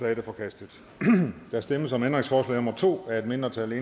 er forkastet der stemmes om ændringsforslag nummer to af et mindretal